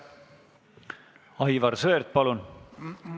Aivar Sõerd, palun!